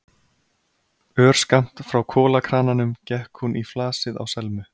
Örskammt frá kolakrananum gekk hún í flasið á Selmu.